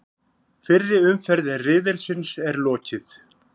Fyrri umferð riðilsins er lokið